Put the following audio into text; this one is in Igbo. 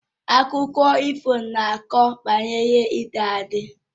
Akụkọ ifo na akọ akụkọ banyere ịdị adi